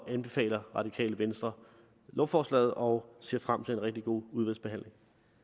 anbefaler radikale venstre lovforslaget og ser frem til en rigtig god udvalgsbehandling